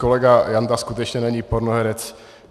Kolega Janda skutečně není pornoherec.